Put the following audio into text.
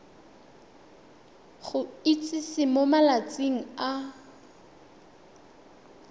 go itsise mo malatsing a